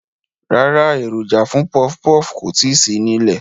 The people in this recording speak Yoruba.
Rárá, èròjà fún pọfpọf kò tíì sí nílẹ̀